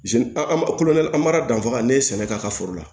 an ba koloda an b'a danfara ne ye sɛnɛ k'a ka foro la